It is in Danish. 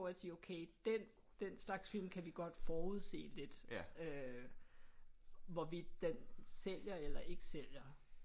At sige okay den den slags film kan vi godt forudse lidt øh hvorvidt den sælger eller ikke sælger